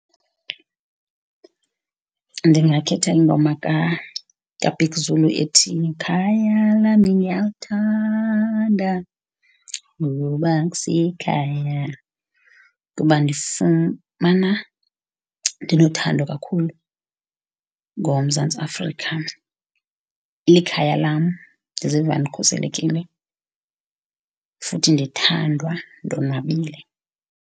Ndingakhetha ingoma kaBig Zulu ethi ikhaya lami ngiyalthanda ngoba kusekhaya kuba ndifumana ndiluthando kakhulu ngoMzantsi Afrika, likhaya lam, ndiziva ndikhuselekile futhi ndithandwa ndonwabile.